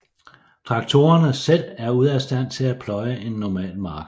Traktorerne selv er ude af stand til at pløje en normal mark